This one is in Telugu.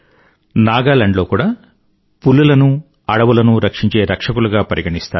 నాగాలాండ్ లో కూడా పులులను అడవులను రక్షించే రక్షకులుగా పరిగణిస్తారు